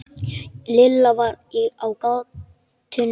Lilla var á gatinu.